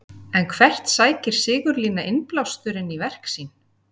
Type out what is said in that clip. En hvert sækir Sigurlína innblásturinn í verk sín?